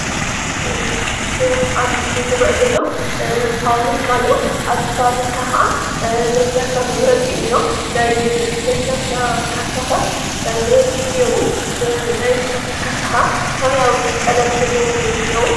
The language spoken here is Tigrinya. እዞም ኣብ ምስል ዝረአ ዘሎ ፋብሪካ እዩ፡፡ ኣብዚ ፋብሪካ ካዓ ናይ ለስላሳ መምረቲ እዩ እንአ፡፡ ናይ ለስላሳ ካሳታት ብበዝሒ እንአዉ፡፡ ናይ ለስላሳ ካሳታት ካዓ ሰማያዊ ቀለም ዘለዎም እዮም እንአዉ፡፡